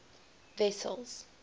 wessels